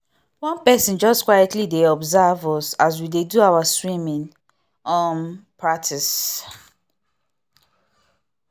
one person just quietly dey observe us as we dey do our swimming um practice